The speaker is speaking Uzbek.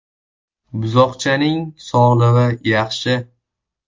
“Buzoqchaning sog‘lig‘i yaxshi.